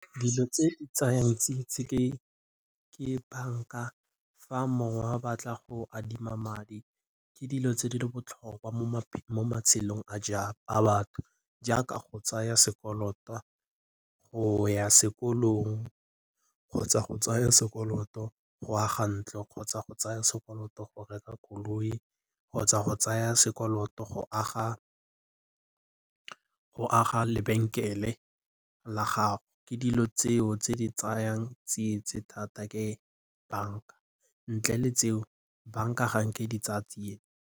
Dilo tse di tsayang ke banka. Fa mongwe a batla go adima madi ke dilo tse di botlhokwa mo matshelong a batho jaaka go tsaya sekoloto go ya sekolong kgotsa go tsaya sekoloto go aga ntlo kgotsa go tsaya sekoloto go reka koloi kgotsa go tsaya sekoloto go aga lebenkele la gago. Ke dilo tseo tse di tsayang thata ke banka ntle le tseo banka ga nke e di tsaya .